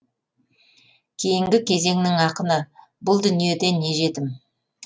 кейінгі кезеңнің ақыны бұл дүниеде не жетім